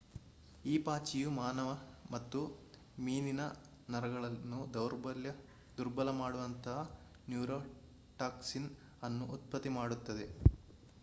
ಈ ಪಾಚಿಯು ಮಾನವ ಮತ್ತು ಮೀನಿನ ನರಗಳನ್ನು ದುರ್ಬಲ ಮಾಡುವಂತಹ ನ್ಯೂರೋಟಾಕ್ಸಿನ್ ಅನ್ನು ಉತ್ಪತ್ತಿ ಮಾಡುತ್ತದೆ